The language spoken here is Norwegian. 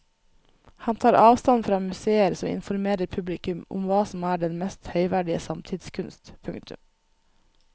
Han tar avstand fra museer som informerer publikum om hva som er den mest høyverdige samtidskunst. punktum